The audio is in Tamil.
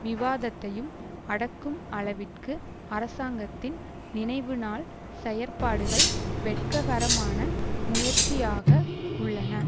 விவாதத்தையும் அடக்கும் அளவிற்கு அரசாங்கத்தின் நினைவுநாள் செயற்பாடுகள் வெட்ககரமான முயற்சியாக உள்ளன